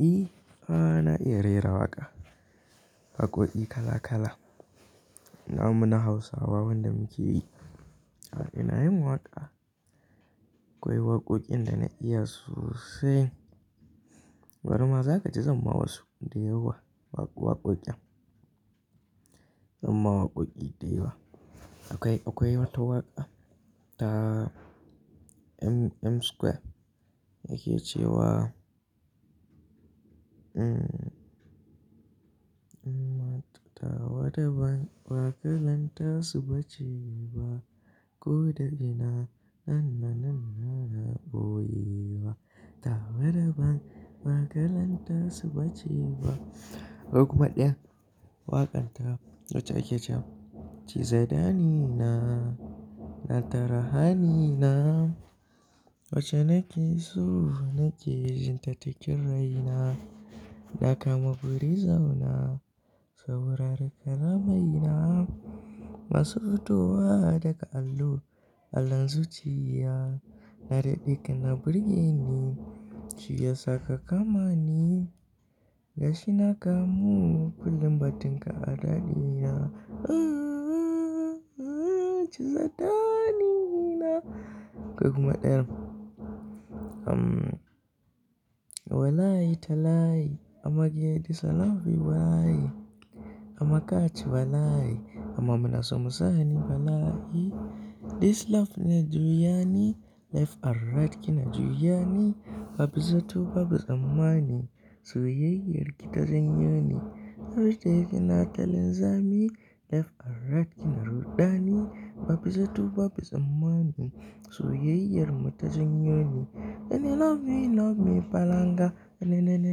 I, ana iya rera waƙa. Waƙoƙi kala kala. Namu na Hausawa wanda muke yi. Ina yin waƙa, akwai waƙoƙin da na iya sossai. Barima za kaji zanma wasu, dayawa waƙoƙin. Zanma waƙoƙi da yawa. Akwai, akwai wata waƙa ta M Square yake cewa, mm, tawa da ban waƙalanta suba ci ba, ko da ina na na na na na bowewa. Tawa da ban baƙalan tasu bace ba. Akwai kuma ɗaya, waƙan ta wacce yake cewa, ci zadani na, na tara hani na, wacce nake so nake jin ta cikin rai na, na kama buri zauna, sau rarraka ramai na, masu hutowa daga allo, allon zuciya, na daɗe kina burge ni, shiya saka kama ni, gashi na kamu, kullum batinka a dadi na, ah ah ah, ci zadani na. Akwai kuma ɗaya, mm, walayi talayi amma ki yarda this love will walayi, amma kati walayi amma muna so mu sa ni walayi. This love na juyani, left and right kina juyani, babu zato babu tsammani, soyayyar ki ta janyo ni. Har da yake ina ta linzami, left and right kina rudani, babu zato babu tsammani, soyayyar mu ta janyo ni. Na ne love me love me falanga, na ne na ne na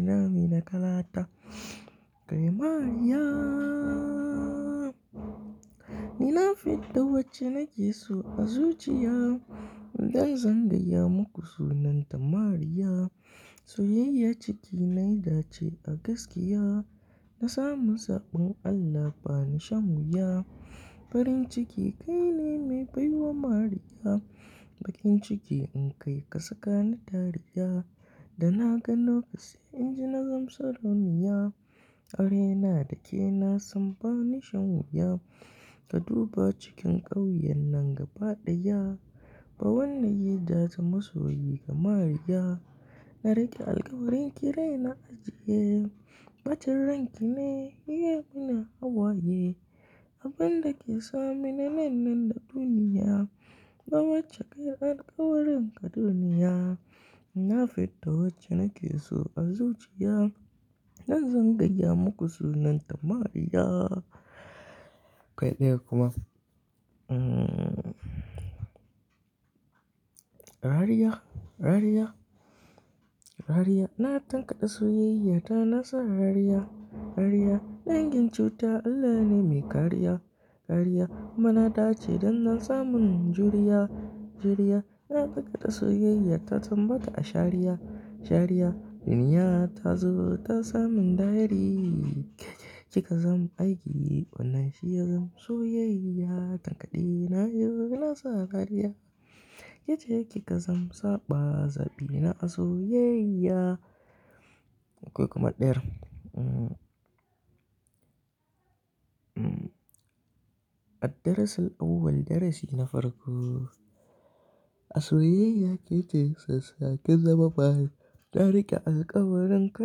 ne love me na kalata. Akwai "Mariya". Ni na fidda wacce nake so a zuciya, don zan gaya muku sunanta Mariya. Soyayya ciki nai dace a gaskiya, na samu saɓon Allah bani shan wuya. Farin ciki kaine mai baiwa Mariya, baƙin ciki in kai ka saka ni dariya. Da na ga nauka sai inji na gan sarauniya, aure na da ke na san bani shan wuya. Ka duba cikin ƙauyen nan gaba ɗaya, ba wanda ya ja ta masoyi kamar iya. Na riƙe alƙawarin ki rai na ajiye, batun ranki ne, iya mu na hawaye. Abun dake sa mu na nan nan da duniya, ba wacce kai alƙawarin ka duniya. Na fidda wacce nake so a zuciya, don zan gaya muku sunanta Mariya. Akwai ɗaya kuma, mm, "Rariya, rariya". Rariya, na tankade soyayyata na sa rariya, rariya. Dangin cuta Allah ne mai kariya, kariya. Kuma na dace don na samun juriya, juriya. Na tankade soyayya ta tambata a shari'a, shari'a. Duniya ta zo ta sa min dariya, ki ka zam aiki wannan shiya zam soyayya. Tankade na yau na sa rariya, ki ce ki ka zam saɓa zabi na a soyayya. Akwai kuma ɗaya, mm, mm, "Addarasal Auwal darasi na farko". A soyayya ki ce sassaƙe zama bayi, na riƙe alƙawarin ka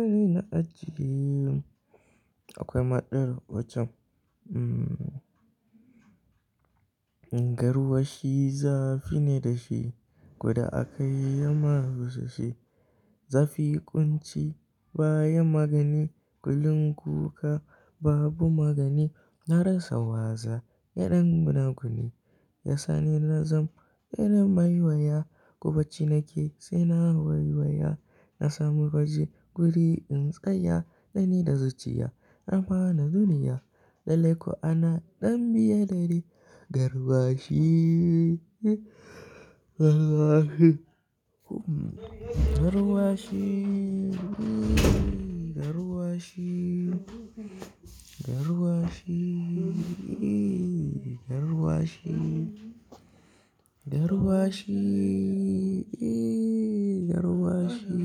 dai na ajiye. Akwai ma ɗaya waccan, mm, Garwashi zafi ne da shi, koda aka yi masa sashi. Zafi ƙunci baya magani, kulun kuka babu magani. Na rasa waza na ɗan gunaguni, ya sa ni na zam ɗan mai waya. Ko ɓaci nake sai na waiwaya, na sami waje guri in tsaya. Na ni da zuciya na fara nuniya, lallai ko ana ɗan biye dare. Garwashi, garwashi, garwashi, garwashi, garwashi, garwashi, garwashi.